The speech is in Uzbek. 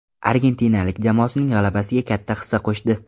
Argentinalik jamoasining g‘alabasiga katta hissa qo‘shdi.